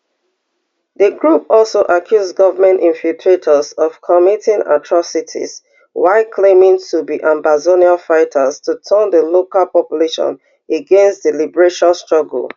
di group also accuse government infiltrators of committing atrocities while claiming to be ambazonian fighters to turn di local population against di liberation struggle